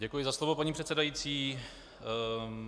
Děkuji za slovo, paní předsedající.